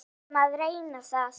Við erum að reyna það.